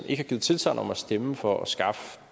har givet tilsagn om at stemme for at skaffe